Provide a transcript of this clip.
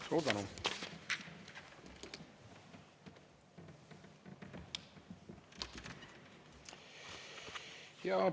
Suur tänu!